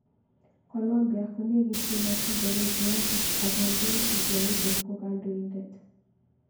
Colombia konekityin ak Venezuela ak kongen Guaido ko kandoindet.